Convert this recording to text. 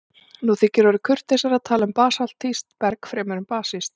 Nú orðið þykir kurteisara að tala um basaltískt berg fremur en basískt.